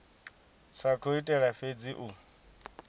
sa khou itela fhedzi u